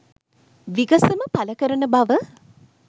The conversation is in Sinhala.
විගසම පල කරන බව